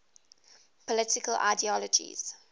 political ideologies